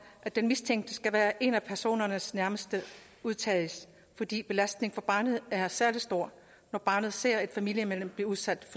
at den mistænkte skal være en af personernes nærmeste udtages fordi belastningen barnet er særlig stor når barnet ser et familiemedlem blive udsat